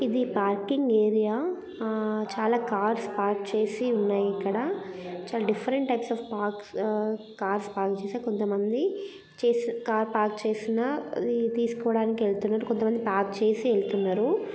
ఇది parking area చాలా cars parks చేసి సన్నాయి ఇక్కడ. చాలా డిఫరెంట్ పైట్స్ ఆఫ్ పార్క్స్ కార్స్ పార్క్ చేసి కొంత మంది చేసి కార్స్ పార్క్ చేసినా తీసుకోడానికి వెళ్తుండ్రు . కొంతమంది పార్క్ చేసి వెళ్తుండ్రు.